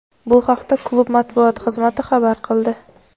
Bu haqda klub matbuot xizmati xabar qildi.